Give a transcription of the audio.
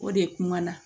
O de kuma na